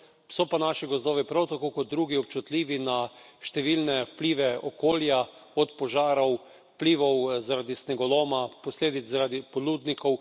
So pa naši gozdovi, prav tako kot drugi, občutljivi na številne vplive okolja, od požarov, vplivov zaradi snegoloma, posledic zaradi podlubnikov.